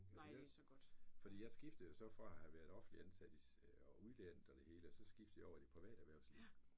Altså jeg fordi jeg skiftede jo så fra at have været offentlig ansat i og uddannet og det hele og så skiftede jeg så over i det private erhvervsliv